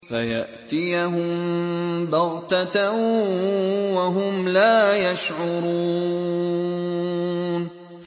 فَيَأْتِيَهُم بَغْتَةً وَهُمْ لَا يَشْعُرُونَ